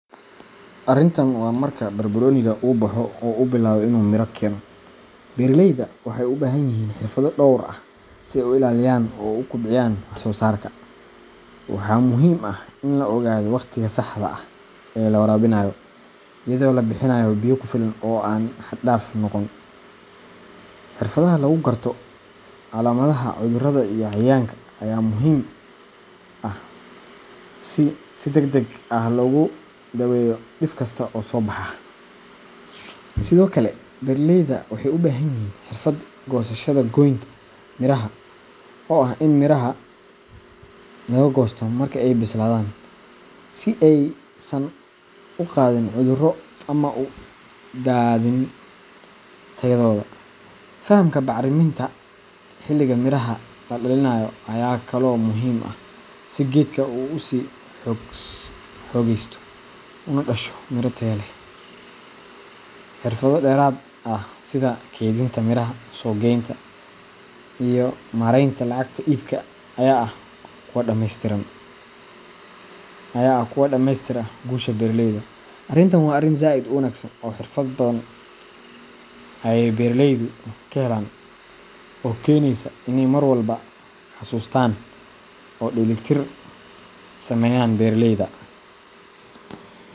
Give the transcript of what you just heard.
Arintan waa marka barbaroniga uu baxo oo uu bilaabo inuu miro keeno, beeraleyda waxay u baahan yihiin xirfado dhowr ah si ay u ilaaliyaan oo u kobciyaan wax soosaarka. Waxaa muhiim ah in la ogaado waqtiga saxda ah ee la waraabinayo, iyadoo la bixinayo biyo ku filan oo aan xad dhaaf noqon. Xirfadda lagu garto calaamadaha cudurrada iyo cayayaanka ayaa muhiim ah si si degdeg ah loogu daweeyo dhib kasta oo soo baxa. Sidoo kale, beeraleyda waxay u baahan yihiin xirfad goosashada goynta miraha oo ah in miraha laga goosto marka ay bislaadaan si aysan u qaadin cudurro ama u daadin tayadooda. Fahamka bacriminta xilliga miraha la dhalinayo ayaa kaloo muhiim ah si geedka uu u sii xoogaysto una dhasho miro tayo leh. Xirfado dheeraad ah sida kaydinta miraha, suuq geynta, iyo maaraynta lacagta iibka ayaa ah kuwa dhameystira guusha beeralayda. Arintan waa arin zaid u wanagsan oo xirfad badan ayey beraleydu kahelan oo kenesa iney mar walba xasustan oo dheli tir sameyan beraleyda.